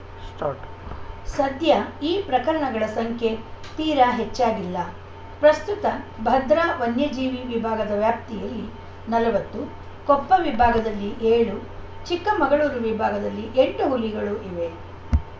start ಸದ್ಯ ಈ ಪ್ರಕರಣಗಳ ಸಂಖ್ಯೆ ತೀರಾ ಹೆಚ್ಚಾಗಿಲ್ಲ ಪ್ರಸ್ತುತ ಭದ್ರಾ ವನ್ಯಜೀವಿ ವಿಭಾಗದ ವ್ಯಾಪ್ತಿಯಲ್ಲಿ ನಲವತ್ತು ಕೊಪ್ಪ ವಿಭಾಗದಲ್ಲಿ ಏಳು ಚಿಕ್ಕಮಗಳೂರು ವಿಭಾಗದಲ್ಲಿ ಎಂಟು ಹುಲಿಗಳು ಇವೆ